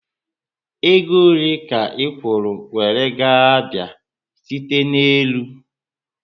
Ego ole ka ikwuru were gaa Abia site ná élú?